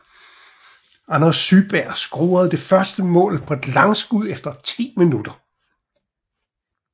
Anders Syberg scorede det første mål på et langskud efter 10 min